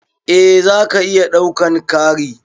Eh zaka iya ɗaukan Kari.